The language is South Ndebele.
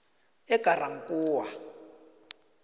egarankuwa